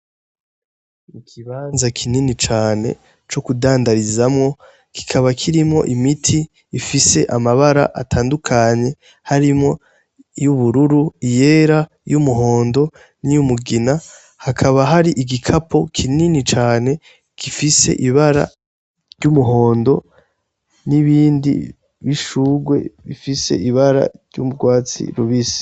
Ikibanza kinini cane co kudandarizamwo gikaba kirimo imiti ifise amabara atandukanye harimwo y'ubururu iyera y'umuhondo niyoumugina hakaba hari igikapo kinini cane gifise ibara ry'umuhondo n'ibindi bishurwe bifise ibara ry'umbwatsi rubise.